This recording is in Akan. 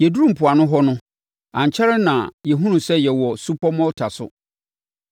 Yɛduruu mpoano hɔ no, ankyɛre na yɛhunuu sɛ yɛwɔ supɔ Malta so.